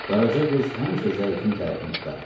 Qaraca qız həmişə zəifin tərəfini tutardı.